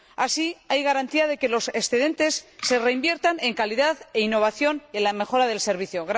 Así, hay garantía de que los excedentes se reinviertan en calidad e innovación, y en la mejora del servicio.